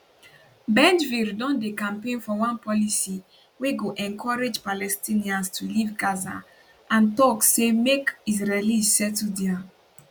bengvir don dey campaign for one policy wey go encourage palestinians to leave gaza and tok say make israelis settle dia